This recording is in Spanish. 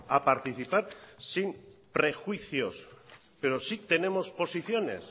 a participar sin prejuicios pero sí tenemos posiciones